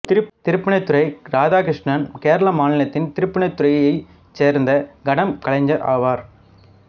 திருப்பூணித்துறை இராதாகிருஷ்ணன் கேரள மாநிலத்தின் திருப்பூணித்துறையைச் சேர்ந்த கடம் கலைஞர் ஆவார்